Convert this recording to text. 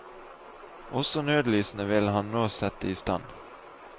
Også nødlysene vil han nå sette i stand.